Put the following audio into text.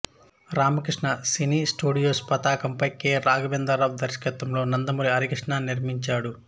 Ramakrishna cine studios పతాకంపై K Raghavendra Rao దర్శకత్వంలో నందమూరి హరికృష్ణ నిర్మించాడు